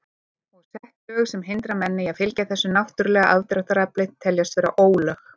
Og sett lög sem hindra menn í að fylgja þessu náttúrulega aðdráttarafli teljast vera ólög.